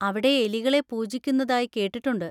അവിടെ എലികളെ പൂജിക്കുന്നതായി കേട്ടിട്ടുണ്ട്!